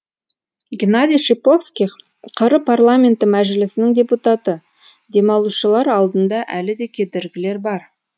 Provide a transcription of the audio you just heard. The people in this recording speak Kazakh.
геннадий шиповских қр парламенті мәжілісінің депутаты демалушылар алдында әлі де кедергілер бар